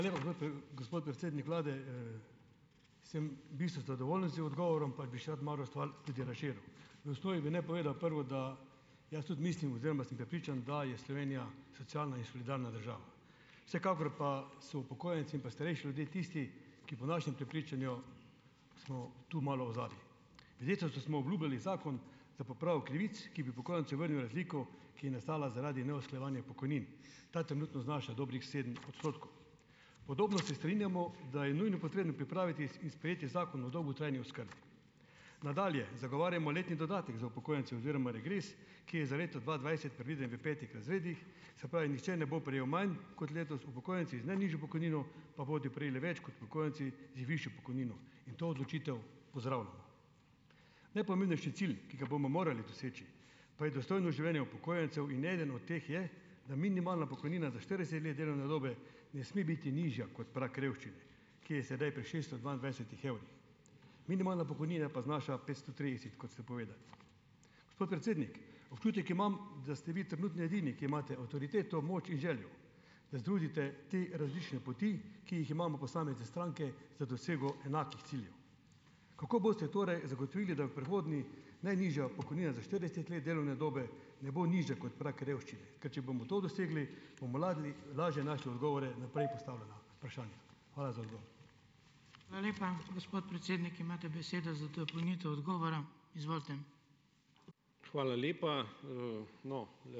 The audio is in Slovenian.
Gospod predsednik vlade. Sem v bistvu zadovoljen z odgovorom, pa bi še rad malo stvar tudi razširil. Bi naj povedal prvo, da jaz tudi mislim oziroma sem prepričan, da je Slovenija socialna in solidarna država. Vsekakor pa so upokojenci in pa starejši ljudje tisti, ki po našem prepričanju smo tu malo odzadaj. Ministrstvu smo obljubili zakon za popravo krivic, ki bi upokojencem vrnil razliko, ki je nastala zaradi neusklajevanja pokojnin. Ta trenutno znaša dobrih sedem odstotkov. Podobno se strinjamo, da je nujno potrebno pripraviti in sprejeti Zakon o dolgotrajni oskrbi. Nadalje. Zagovarjamo letni dodatek za upokojence oziroma regres, ki je za leto dva dvajset predviden v petih razredih, se pravi, nihče ne bo prejel manj kot letos, upokojenci z najnižjo pokojnino pa bodo prejeli več kot upokojenci z višjo pokojnino, in to odločitev pozdravljam. Najpomembnejši cilj, ki ga bomo morali doseči pa je dostojno življenje upokojencev in eden od teh je, da minimalna pokojnina za štirideset let delovne dobe ne sme biti nižja kot prag revščine, ki je sedaj pri šeststo dvaindvajsetih evrih. Minimalna pokojnina pa znaša petsto trideset, kot ste povedali. Gospod predsednik, občutek imam, da ste vi trenutno edini, ki imate avtoriteto, moč in željo, da združite te različne poti, ki jih imamo posamezne stranke za dosego enakih ciljev. Kako boste torej zagotovili, da bo v prihodnje najnižja pokojnina za štirideset let delovne dobe ne bo nižja kot prag revščine? Ker če bomo to dosegli, bo lažje našli odgovore na prej postavljena vprašanja. Hvala za odgovor.